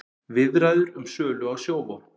Viðræður um sölu á Sjóvá